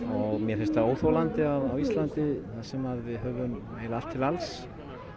og mér finnst það óþolandi að á Íslandi þar sem við höfum allt til alls